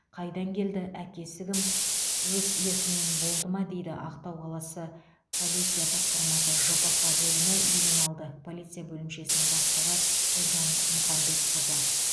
қайдан келді әкесі кім өз еркімен болды ма дейді ақтау қаласы полиция басқармасы жпқ бөлімі ювеналды полиция бөлімшесінің бастығы гүлжан мұхамбетқызы